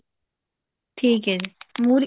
ਠੀਕ ਹੈ ਜੀ ਮੁਰ੍ਹੀ